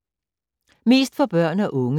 Mest for børn og unge: